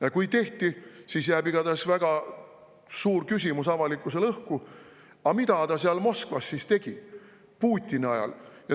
Aga kui tehti, siis jääb igatahes õhku väga suur küsimus: mida ta seal Moskvas siis tegi Putini ajal?